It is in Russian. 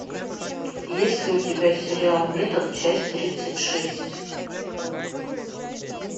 есть ли у тебя сериал метод часть тридцать шесть